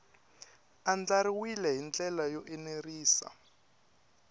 andlariwile hi ndlela yo enerisa